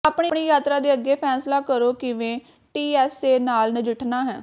ਆਪਣੀ ਯਾਤਰਾ ਦੇ ਅੱਗੇ ਫੈਸਲਾ ਕਰੋ ਕਿਵੇਂ ਟੀਐੱਸਏ ਨਾਲ ਨਜਿੱਠਣਾ ਹੈ